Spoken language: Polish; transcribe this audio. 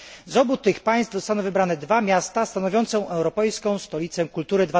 Z obu tych państw zostaną wybrane dwa miasta stanowiące Europejską Stolicę Kultury